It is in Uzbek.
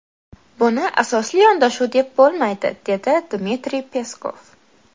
Buni asosli yondashuv deb bo‘lmaydi”, dedi Dmitriy Peskov.